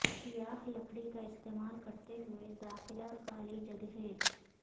سیاہ لکڑی کا استعمال کرتے ہوئے داخلہ خالی جگہیں